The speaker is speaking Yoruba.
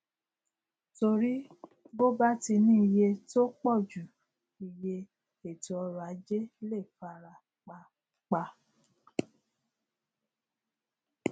torí bo bá ti ní iye tó pọjù iye ètò ọrọ ajé lè fara pa pa